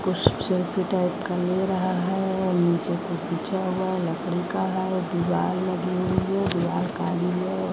कुछ selfie type का ले रहा है नीचे कुछ बिछा हुआ लकड़ी का है दीवार लगी हुई है दीवाल काली भी है औ